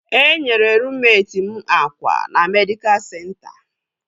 Enyere ruummet m akwa na medịkal senta